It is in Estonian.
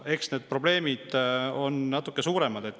Need probleemid on natuke suuremad.